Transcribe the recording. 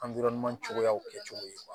cogoyaw kɛcogo ye